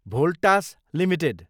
Voltas Ltd